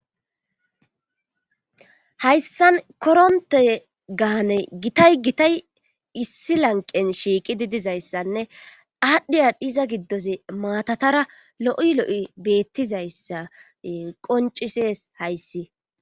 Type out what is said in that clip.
hayssan koronte gaane gitay gitay issi lanqen shiiqidi dizayssanne aadhdhiya diza giddozii maatatara lo'i lo'i beettizayssa qoncises hayssi